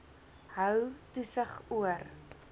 hou toesig oor